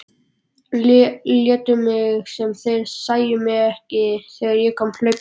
Létu sem þeir sæju mig ekki þegar ég kom hlaupandi.